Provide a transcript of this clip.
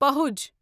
پہُج